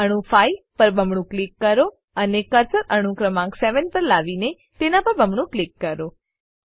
તો અણુ 5 પર બમણું ક્લિક કરો અને કર્સર અણુ ક્રમાંક 7 પર લાવીને તેના પર બમણું ક્લિક કરો